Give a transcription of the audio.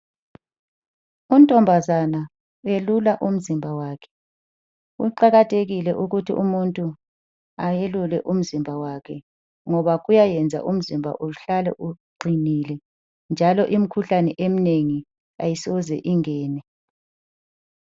Untombazana welula umzimba wakhe. Kuqakathekile ukuthi umuntu ayelule umzimba wakhe ngoba kuyayenza umzimba uhlale uqinile njalo imikhuhlane eminengi ayisoze ingene.